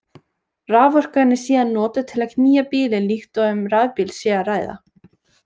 Raforkan er síðan notuð til að knýja bílinn líkt og um rafbíl sé að ræða.